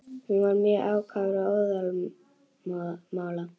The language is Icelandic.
Hann var mjög ákafur og óðamála.